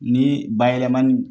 Ni bayɛlɛmani